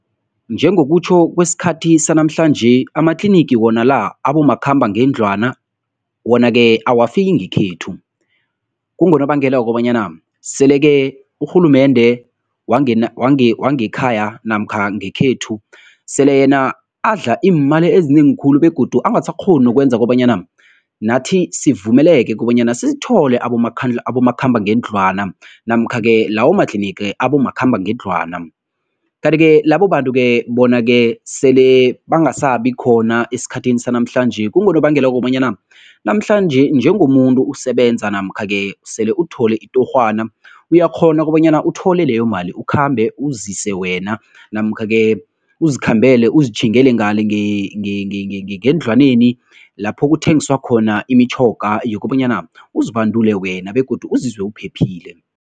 Njengokutjho kwesikhathi sanamhlanje, amatlinigi wona la abomakhambangendlwana wona ke awafiki ngekhethu. Kungonobangela wokobanyana sele-ke urhulumende wangekhaya namkha ngekhethu sele yena adla iimali ezinengi khulu begodu angasakghoni nokwenza kobanyana nathi sivumeleke kobanyana sithole abomakhambangendlwana namkha-ke lawo matlinigi abomakhambangendlwana. Kanti-ke labo bantu-ke bona-ke sele bangasabi khona esikhathini sanamhlanje, kungonobangela wokobanyana namhlanje njengomuntu usebenza namkha-ke sele uthole itorhwana uyakghona kobanyana uthole leyo mali, ukhambe uzise wena namkha-ke uzikhambele, uzitjhingele ngale ngendlwaneni lapho kuthengiswa khona imitjhoga yokobanyana uzibandule wena begodu uzizwe uphephile.